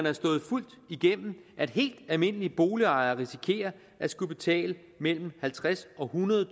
er slået fuldt igennem at helt almindelige boligejere risikerer at skulle betale mellem halvtredstusind og